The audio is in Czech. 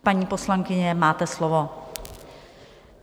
Paní poslankyně, máte slovo.